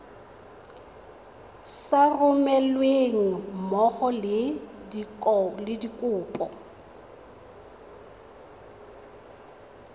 sa romelweng mmogo le dikopo